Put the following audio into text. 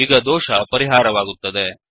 ಈಗ ದೋಷ ಪರಿಹಾರವಾಗುತ್ತದೆ